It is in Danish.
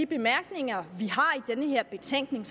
bemærkninger vi har i den her betænkning